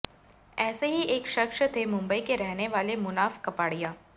ऐसे ही एक शख्स थे मुंबई के रहने वाले मुनाफ कपाड़िया